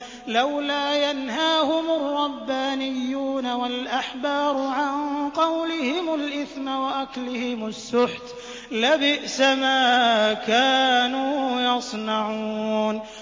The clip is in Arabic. لَوْلَا يَنْهَاهُمُ الرَّبَّانِيُّونَ وَالْأَحْبَارُ عَن قَوْلِهِمُ الْإِثْمَ وَأَكْلِهِمُ السُّحْتَ ۚ لَبِئْسَ مَا كَانُوا يَصْنَعُونَ